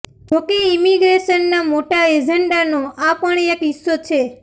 જોકે ઈમિગ્રેશનના મોટા એજન્ડાનો આ પણ એક હિસ્સો છે